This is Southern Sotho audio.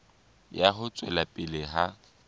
ya ho tswela pele ha